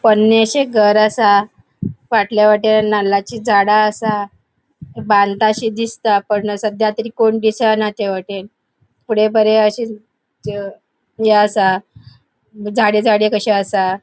पोन्नेशे घर असा फाटल्या वाटेन नाल्लाची झाडा असा बानताशे दिसता पण सद्या तरी कोण दिसाना त्यावाटेन फुड़े बरे अशे थय ये असा झाडे झाडे कशे असा.